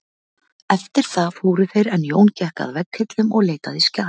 Eftir það fóru þeir en Jón gekk að vegghillum og leitaði skjala.